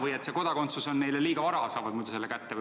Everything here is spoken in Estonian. Et muidu oleks kodakondsus neile liiga vara kätte antud.